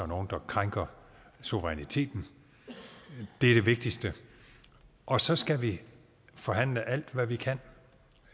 nogen der krænker suveræniteten det er det vigtigste og så skal vi forhandle alt hvad vi kan